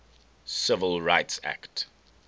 civil rights act